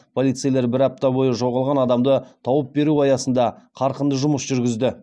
полицейлер бір апта бойы жоғалған адамды тауып беру аясында қарқынды жұмыс жүргізді